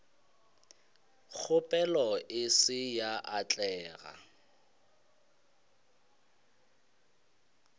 kgopelo e se ya atlega